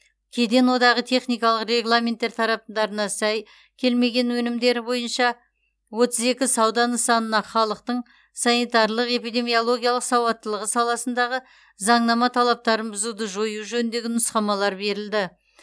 кеден одағы техникалық регламенттер талаптарына сай келмеген өнімдер бойынша отыз екі сауда нысанына халықтың санитарлық эпидемиологиялық сауаттылығы саласындағы заңнама талаптарын бұзуды жою жөніндегі нұсқамалар берілді